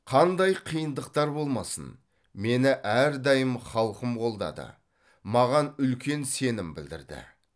қандай қиындықтар болмасын мені әрдайым халқым қолдады маған үлкен сенім білдірді